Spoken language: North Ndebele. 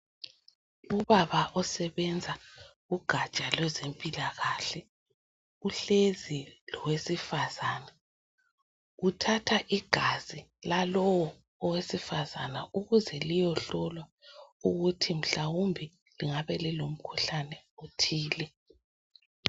Ubaba osebenza ugatsha lwezempilakahle uhlezi lowesifazana uthatha igazi lalowo owesifazana ukuze liyehlolwa ukuthi mhlawumbe lingabe lilomkhuhlane othile.